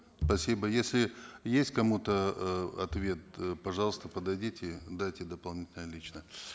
спасибо если есть к кому то э ответ э пожалуйста подойдите дайте дополнительно лично